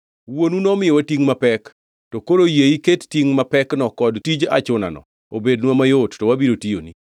“Wuonu nomiyowa tingʼ mapek, to koro yie iket tingʼ mapekno kod tij achunano obednwa mayot, to wabiro tiyoni.”